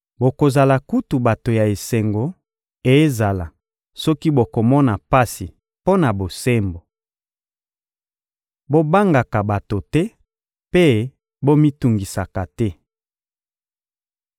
Bokozala kutu bato ya esengo, ezala soki bokomona pasi mpo na bosembo. Bobangaka bato te mpe bomitungisaka te.